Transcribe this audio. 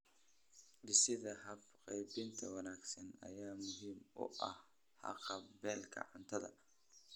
Dhisidda habab qaybin wanaagsan ayaa muhiim u ah haqab-beelka cuntada.